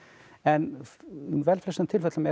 en í vel flestum tilfellum er hún